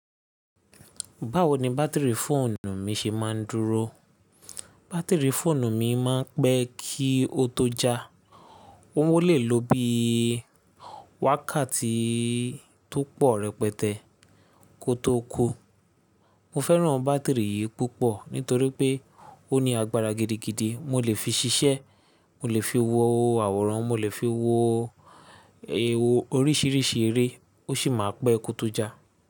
Báwo ni bátìrì fóònù mi ṣe máa ń dúró? Bátìrì fóònù mi máa ń pẹ́ kí ó tó já. Ó ó lè lo bí i wákàtí tó pọ̀ rẹpẹtẹ kó tó kú. Mo fẹ́ràn bátìrì yìí púpọ̀ nítorí pé ó ní agbára gidigidi. Mo lè fi ṣiṣẹ́, mo lè fi wo àwòrán, mo lè fi wo oríṣìíríṣìí eré, ó sì máa pẹ́ kó tó já.